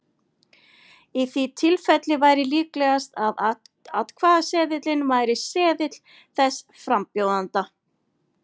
Í því tilfelli væri líklegast að atkvæðaseðilinn væri seðill þess frambjóðanda.